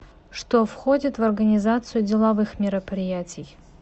что входит в организацию деловых мероприятий